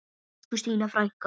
Elsku Stína frænka.